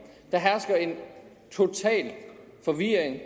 der hersker en total forvirring